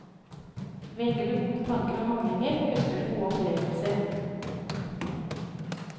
Velger du gode tanker og handlinger, høster du gode opplevelser.